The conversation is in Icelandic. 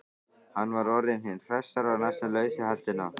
Hann var orðinn hinn hressasti og næstum laus við heltina.